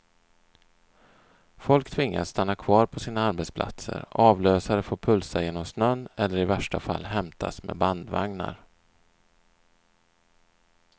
Folk tvingas stanna kvar på sina arbetsplatser, avlösare får pulsa genom snön eller i värsta fall hämtas med bandvagnar.